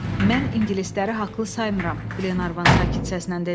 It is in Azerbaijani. Mən ingilisləri haqlı saymıram, Qlenarvan sakit səslə dedi.